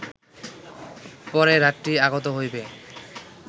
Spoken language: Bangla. পরে রাত্রি আগত হইবে